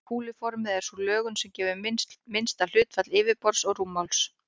Kúluformið er sú lögun sem gefur minnsta hlutfall yfirborðs og rúmmáls.